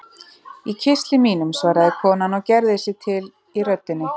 Í kistli mínum, svaraði konan og gerði sig til í röddinni.